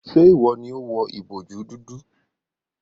Ṣe iwọ ni o wọ ìbojú dúdú?